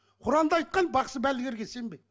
құранда айтқан бақсы балгерге сенбе